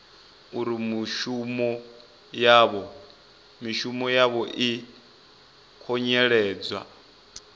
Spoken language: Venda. uri mishumo yavho i khunyeledzwa